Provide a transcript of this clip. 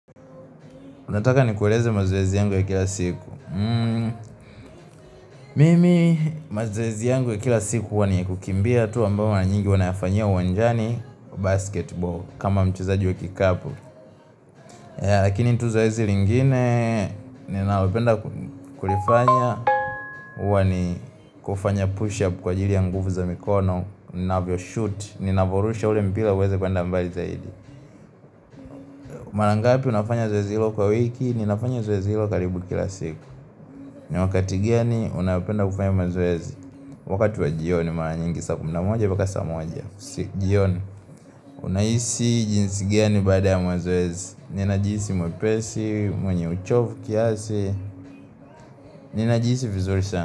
Unataka ni kueleze mazoezi yangu ya kila siku Mimi mazoezi yangu ya kila siku Uwa ni kukimbia tu mara nyingi Wanayafanyia uwanjani basketball kama mchezaji wa kikapo Lakini tuzoezi lingine ni nalopenda kulifanya Uwa ni kufanya push up Kwa ajiri ya nguvu za mikono unavyo shoot Ninavorusha ule mpira uweze kuenda mbali zaidi Marangapi unafanya zoezi hilo kwa wiki Ninafanya zoezi hilo karibu kila siku ni wakati gani unapenda kufanya mazoezi wakati wa jioni maranyingi saa kumi na moja mpaka saa moja kusijioni unaisi jinsi gani bada ya mazoezi ni najisi mwepesi, mwenye uchovu, kiasi ni najiisi vizuri sana.